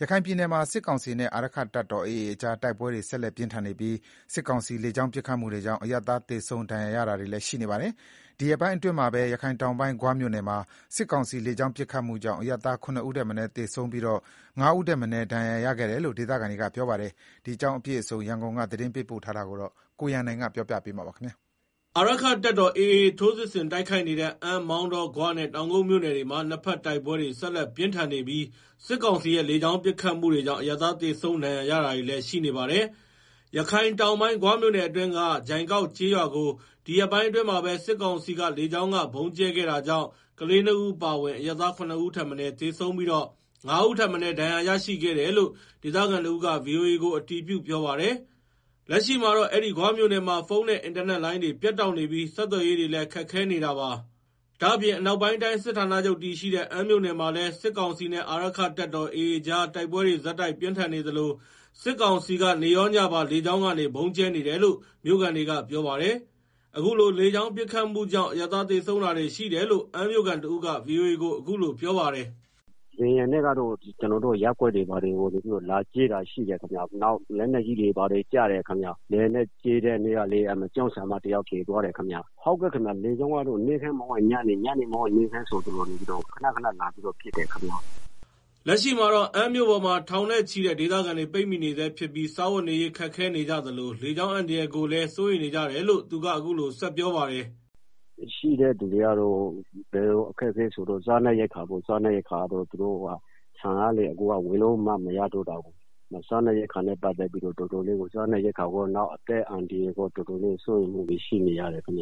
ရခိုင်ပြည်နယ်မှာ စစ်ကောင်စီနဲ့ အာရက္ခတပ်တော် AA ကြား တိုက်ပွဲတွေ ဆက်လက်ပြင်းထန်နေပြီး စစ်ကောင်စီလေကြောင်း ပစ်ခတ်မှုတွေကြောင့် အရပ်သား သေဆုံးဒဏ်ရာရတာတွေလည်း ရှိနေပါတယ်။ ဒီရက်ပိုင်းအတွင်းမှာပဲရခိုင်တောင်ပိုင်း ဂွမြို့နယ်မှာ စစ်ကောင်စီလေကြောင်းပစ်ခတ်မှု ကြောင့် အရပ်သား (၇) ဦးထက်မနည်းသေဆုံးပြီး (၅) ဦးထက်မနည်း ဒဏ်ရာရခဲ့ကြတယ်လို့ ဒေသခံတွေက ပြောပါတယ်။ ဒီအကြောင်းအပြည့်အစုံ ရန်ကုန်က သတင်းပေးပို့ထားပါတယ်။ အာရက္ခတပ်တော် AA ထိုးစစ်ဆင်တိုက်ခိုက်နေတဲ့ အမ်း၊ မောင်တော၊ ဂွနဲ့ တောင်ကုတ်မြို့နယ်တွေမှာ တိုက်ပွဲတွေဆက်လက်ပြင်းထန်နေပြီး စစ်ကောင်စီရဲ့ လေကြောင်းပစ်ခတ်မှုတွေကြောင့် အရပ်သား သေဆုံး၊ ဒဏ်ရာရတာတွေလည်း ရှိနေပါတယ်။ ရခိုင်တောင်ပိုင်း ဂွမြို့နယ်အတွင်းက ဂျိုင်ကောက်ကျေးရွာကို ဒီရက်ပိုင်းအတွင်းမှာပဲ စစ်ကောင်စီ လေကြောင်းကဗုံးကြဲခဲ့တာကြောင့် ကလေးနှစ်ဦးအပါအဝင် အရပ်သား (၇) ဦးထက်မနည်း သေဆုံးပြီး (၅) ဦးထက်မနည်း ဒဏ်ရာရရှိခဲ့တယ်လို့ ဒေသခံတဦးက ဗွီအိုအေကို အတည်ပြုပြောပါတယ်။ လက်ရှိမှာတော့ အဲဒီ ဂွမြို့နယ်မှာ ဖုန်းနဲ့ အင်တာနက်လိုင်းတွေ ပြတ်တောက်နေပြီး ဆက်သွယ်ရေးတွေလည်း ခက်ခဲနေတာပါ။ ဒါ့အပြင် အနောက်ပိုင်းတိုင်းစစ်ဌာနချုပ်တည်ရှိတဲ့ အမ်းမြို့နယ်မှာလည်း စစ်ကောင်စီနဲ့ အာရက္ခတပ်တော် AA ကြားတိုက်ပွဲတွေ ဆက်တိုက်ပြင်းထန်နေသလို စစ်ကောင်စီက နေ့ရောညပါ လေကြောင်းကနေ ဗုံးကြဲနေတယ်လို့ မြို့ခံတွေကပြောပါတယ်။ အခုလို လေကြောင်းပစ်ခတ်မှု ကြောင့် အရပ်သား သေဆုံးတာတွေလည်းရှိတယ်လို့ အမ်းမြို့ခံတဦးက ဗွီအိုအေကို အခုလို ပြောပါတယ်။ “လေယာဉ်နဲ့တော့ ကျနော်တို့ ရပ်ကွက်တွေကို ဗုံးလာကြဲတာရှိတယ်။ နောက် လက်နက်ကြီးတွေ ကျတာရှိတယ်ခင်ဗျ။လေယာဉ်နဲ့လာကြဲတဲ့ တနေ့ကဆိုရင် ကျောင်းဆရာမတဦး သေသွားတာရှိတယ်။ လေကြောင်းကနေ မနက်မဟုတ်ရင်ညနေ၊ ညနေမဟုတ်ရင် မနက် နေ့တိုင်း လာကြဲနေပါတယ်။” လက်ရှိမှာတော့ အမ်းမြို့ပေါ်မှာ ထောင်နဲ့ချီတဲ့ ဒေသခံတွေ ပိတ်မိနေဆဲဖြစ်ပြီး စားဝတ်နေရေးခက်ခဲ နေကြသလိုလေကြောင်းအန္တရာယ်တွေကိုလည်း စိုးရိမ်နေကြတယ်လို့ သူက အခုလိုဆက်ပြောပါတယ်။ "ရှိနေတဲ့သူတွေရဲ့ အခက်အခဲကတော့ စားနပ်ရိက္ခာပေါ့။ အခုက ဆန်ကလည်း ဝယ်လို့လည်းမရတော့ ဘူးဆိုတော့လေ။စားနပ်ရိက္ခာနဲ့ပတ်သက်ပြီး တော်တော်ခက်ခဲနေရတယ်။ နောက် အသက်အန္တရာယ်နဲ့ ပတ်သက်ပြီးလည်း တော်တော်စိုးရိမ်နေရတယ်။"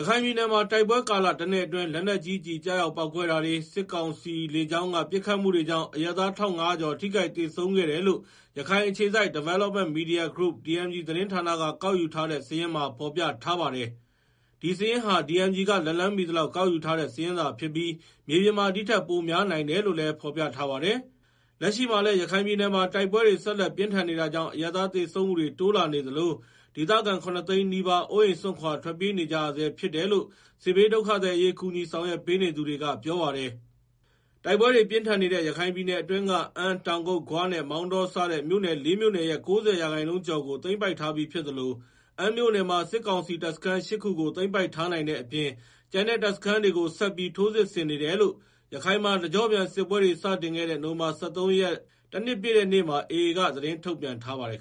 ရခိုင်ပြည်နယ်မှာ တိုက်ပွဲကာလတနှစ်အတွင်း လက်နက်ကြီးကျည် ကျရောက်ပေါက်ကွဲတာတွေနဲ့ စစ်ကောင်စီလေကြောင်းက ပစ်ခတ်မှုတွေကြောင့် အရပ်သား ၁,၅ဝဝ ကျော် ထိခိုက်သေဆုံးခဲ့တယ်လို့ ရခိုင်အခြေစိုက်Development Media Group(DMG) သတင်းဌာနကကောက်ယူထားတဲ့ စာရင်းမှာ ဖော်ပြထားပါတယ်။ ဒီစာရင်းဟာDMG က လက်လှမ်းမှီသလောက်ကောက်ယူထားတဲ့ စာရင်း သာဖြစ်ပြီး မြေပြင်မှာ ဒီထက်ပိုများနိုင်တယ်လို့လည်းဖော်ပြထားပါတယ်။ လက်ရှိမှာလည်း ရခိုင်ပြည်နယ်မှာ တိုက်ပွဲတွေ ဆက်လက်ပြင်းထန်နေတာကြောင့် အရပ်သား သေဆုံးမှုတိုးလာနေသလို ဒေသခံ (၇) သိန်းနီးပါး အိုးအိမ်စွန့်ခွာ ထွက်ပြေးနေကြရဆဲဖြစ်တယ်လို့ စစ်ဘေးဒုက္ခသည်အရေး ကူညီဆောင်ရွက်ပေးနေသူတွေက ပြောပါတယ်။ တိုက်ပွဲတွေ ပြင်းထန်နေတဲ့ ရခိုင်ပြည်နယ်အတွင်းက အမ်း၊ တောင်ကုတ်၊ ဂွနဲ့ မောင်တော စတဲ့ မြို့နယ် (၄) မြို့နယ်ရဲ့ ၉ဝ ရာခိုင်နှုန်းကျော်ကို သိမ်းပိုက်ထားပြီးဖြစ်သလို အမ်းမြို့နယ်မှာ စစ်ကောင်စီ တပ်စခန်း ၈ ခုကို သိမ်းပိုက်ထားနိုင်တဲ့အပြင် ကျန်တဲ့တပ်စခန်းတွေကို ဆက်ပြီး ထိုးစစ်ဆင်နေတယ်လို့ ရခိုင်မှာ တကျော့ပြန်စစ်ပွဲတွေ စတင်ခဲ့တဲ့ နိုဝင်ဘာ၁၃ ရက် တနှစ်ပြည့်တဲ့နေ့မှာ AA က သတင်းထုတ်ပြန်ထားပါတယ်